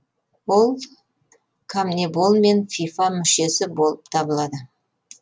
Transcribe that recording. ол конмебол мен фифа мүшесі болып табылады